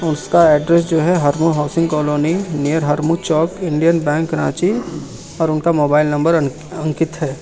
उसका एड्रेस जो है Harmu housing colony near Harmu Chowk Indian bank Ranchi और उनका मोबाइल नंबर अंकित है।